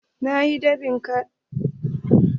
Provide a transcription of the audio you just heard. Na yi dab'in jaridu hamsin.